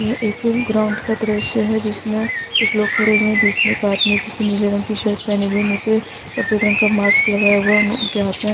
यह एक ग्राउंड का दृश्य है जिसमें कुछ लोग खड़े हुए हैं बीच में एक आदमी है जिसने नीले रंग की शर्ट पेहने हुए मुँह पे सफेद रंग का मास्क लगाया हुआ है उनके हाथ में --